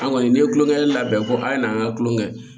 An kɔni n'i ye tulonkɛ labɛn ko a' ye nan ka kulon kɛ